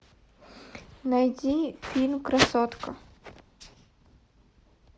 найди фильм красотка